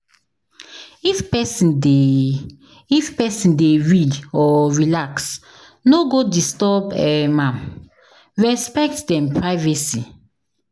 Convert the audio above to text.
If pesin dey If pesin dey read or relax, no go disturb um am, respect dem privacy.